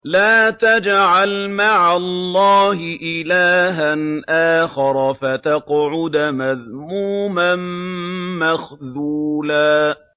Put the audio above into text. لَّا تَجْعَلْ مَعَ اللَّهِ إِلَٰهًا آخَرَ فَتَقْعُدَ مَذْمُومًا مَّخْذُولًا